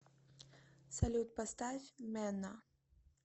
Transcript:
салют поставь мэнна